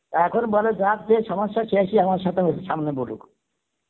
এখন বলে যার যে সমস্সা সে সমস্সা তো সামনে বলুক